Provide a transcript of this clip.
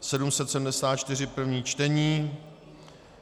774, první čtení.